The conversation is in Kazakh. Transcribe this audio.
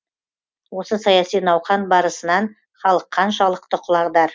осы саяси науқан барысынан халық қаншалықты құлағдар